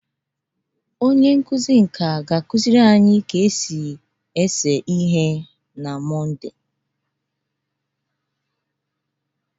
Onye nkuzi nka ga-akụziri anyị ka esi agba agba na Mọnde.